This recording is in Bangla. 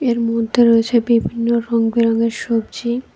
এর মধ্যে রয়েছে বিভিন্ন রঙবেরঙের সবজি।